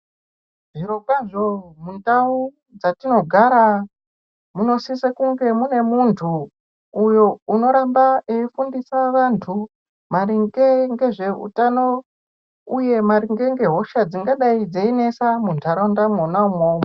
Zvirokwazvo mundau dzatinogara munosise kunge mune muntu uyo unoramba eifundisa vantu maringe ngezveutano uye maringe ngehosha dzingadai dzeinesa munharaunda mwona umwomwo.